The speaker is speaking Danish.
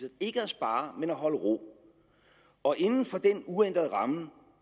ikke at spare men at holde ro og inden for den uændrede ramme